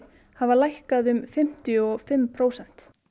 hafa lækkað um fimmtíu og fimm prósent